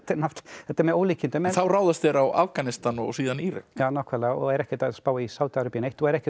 þetta er með ólíkindum þá ráðast þeir á Afganistan og síðan Írak já og eru ekkert að spá í Sádi Arabíu neitt og eru ekkert